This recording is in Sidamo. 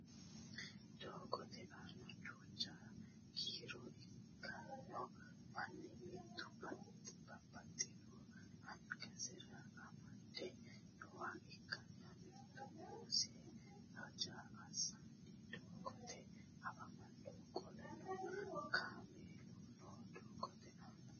Doogote aana duucha kiiro ikkanno manni mitu babbaxino angansara amade nooha ikkanna mitu uminsa haja assanni doogote afamanno qoleno kaamellano no doogote aana